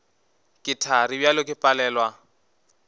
ke thari bjale ke palelwa